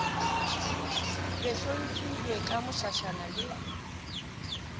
be hlophilwe ka mošašana le